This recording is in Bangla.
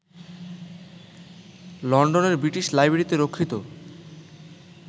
লন্ডনের বৃটিশ লাইব্রেরিতে রক্ষিত